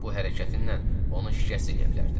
Bu hərəkətinlə onu şikəst eləyə bilərdin.